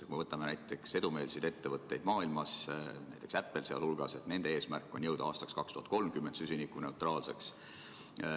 Kui me vaatame edumeelseid ettevõtteid maailmas, näiteks Apple'it, siis nende eesmärk on jõuda aastaks 2030 süsinikuneutraalsuseni.